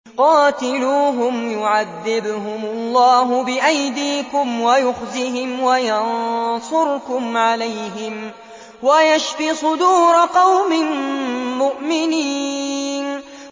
قَاتِلُوهُمْ يُعَذِّبْهُمُ اللَّهُ بِأَيْدِيكُمْ وَيُخْزِهِمْ وَيَنصُرْكُمْ عَلَيْهِمْ وَيَشْفِ صُدُورَ قَوْمٍ مُّؤْمِنِينَ